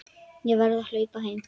Ég verð að hlaupa heim.